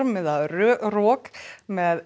eða rok með